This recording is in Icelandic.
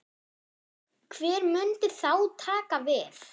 Hver myndi þá taka við?